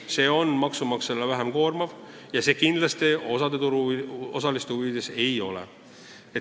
See on maksumaksjale vähem koormav ja see kindlasti osa turuosaliste huvides ei ole.